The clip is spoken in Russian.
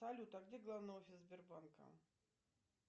салют а где главный офис сбербанка